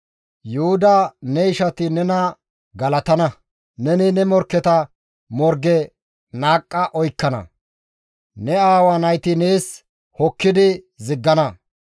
«Yuhuda ne ishati nena galatana; neni ne morkketa morge naaqqa oykkana; ne aawa nayti nees hokkidi ziggana.